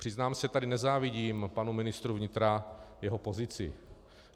Přiznám se tady, nezávidím panu ministru vnitra jeho pozici.